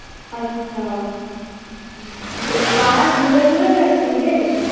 আচ্ছা ওই পাহাড় ঘুরে ঘুরে গেছিলে?